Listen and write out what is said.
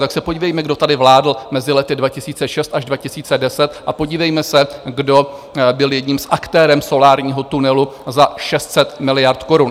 Tak se podívejme, kdo tady vládl mezi lety 2006 až 2010, a podívejme se, kdo byl jedním z aktérů solárního tunelu za 600 miliard korun.